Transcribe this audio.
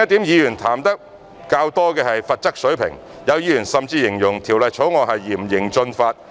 議員談得較多的另一點是罰則水平，有議員甚至形容《條例草案》是嚴刑峻法。